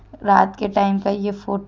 रात के टाइम का ये फोटो --